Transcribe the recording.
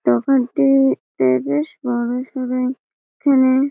দোকানটি তে বেশ বড় সরই কেনে--